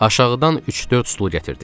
Aşağıdan üç-dörd stulu gətirdik.